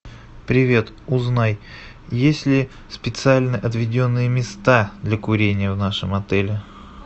привет узнай есть ли специально отведенные места для курения в нашем отеле